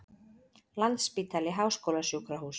Landspítali Háskólasjúkrahús.